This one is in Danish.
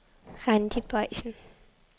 Randi Boysen